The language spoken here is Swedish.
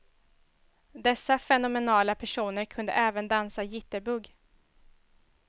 Dessa fenomenala personer kunde även dansa jitterbug.